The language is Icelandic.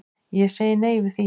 Ég segi nei við því.